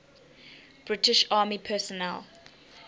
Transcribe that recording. british army personnel